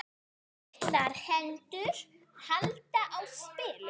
Litlar hendur halda á spilum.